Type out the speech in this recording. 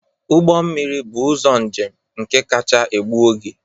Ụgbọ mmiri bụ ụzọ njem nke kacha egbu oge